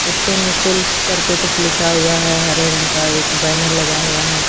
इसपे निशुल्क करके कुछ लिखा हुआ है हरे रंग का एक बैनर लगा हुआ है।